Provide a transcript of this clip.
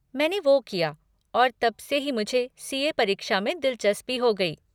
मैंने वो किया और तब से ही मुझे सी.ए. परीक्षा में दिलचस्पी हो गई।